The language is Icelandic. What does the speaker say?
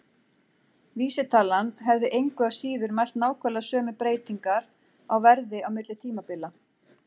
Vísitalan hefði engu að síður mælt nákvæmlega sömu breytingar á verði á milli tímabila.